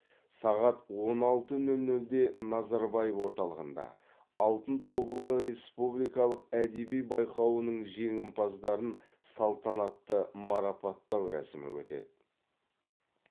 сағат он алты нөл нөлде назарбаев орталығында алтын тобылғы республикалық әдеби байқауының жеңімпаздарын салтанатты марапаттау рәсімі өтеді